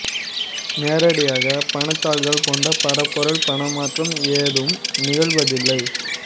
நேரடியாக பணத்தாள்கள் போன்ற பருப்பொருள் பண மாற்றம் ஏதும் நிகழ்வதில்லை